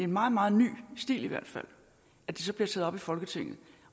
meget meget ny stil at det så bliver taget op i folketinget